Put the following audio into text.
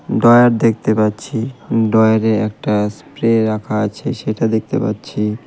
Drawer দেখতে পাচ্ছি ডয়ারে একটা স্প্রে রাখা আছে সেটা দেখতে পাচ্ছি.